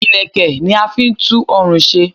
Ìlẹ̀kẹ̀ ni a fi n tú orùn se